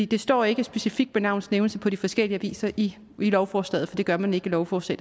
det står ikke specifikt med navns nævnelse på de forskellige aviser i lovforslaget for det gør man ikke i lovforslag